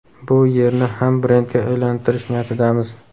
bu yerni ham brendga aylantirish niyatidamiz.